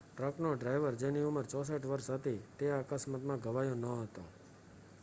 ટ્રકનો driver જેની ઉંમર 64 વર્ષ હતી તે આ અકસ્માતમાં ઘવાયો ન હતો